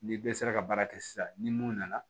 Ni bɛɛ sera ka baara kɛ sisan ni mun nana